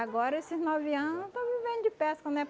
Agora, esses nove ano, eu estou vivendo de pesca, né?